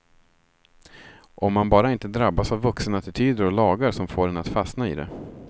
Om man bara inte drabbas av vuxenattityder och lagar, som får en att fastna i det.